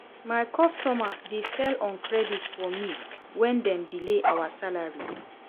My customer dey sell on credit for me wen dem delay our salary.